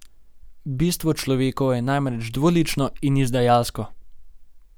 Bistvo človekovo je namreč dvolično in izdajalsko.